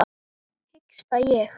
hiksta ég.